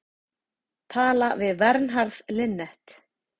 Talað við Vernharð Linnet.